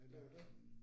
Det jo det